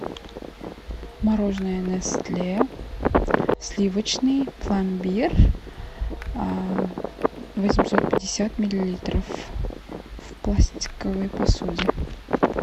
мороженое нестле сливочный пломбир восемьсот пятьдесят миллилитров в пластиковой посуде